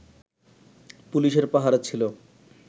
পুলিশের পাহারা ছিলো